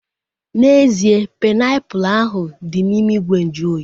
N'ezie, painiapulu ahu dị n'ime ìgwè nju oyi